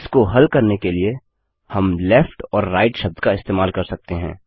इसको हल करने के लिए हम लेफ्ट और राइट शब्द का इस्तेमाल कर सकते हैं